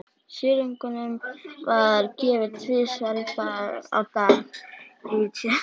Silungnum var gefið tvisvar á dag í tjörnunum.